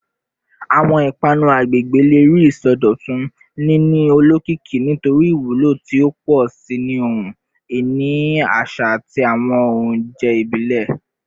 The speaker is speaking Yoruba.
Awọn ipanu agbegbe le rii isọdọtun, nini olokiki nitori iwulo ti o pọ si ni ohun-ini aṣa ati awọn ounjẹ ibile.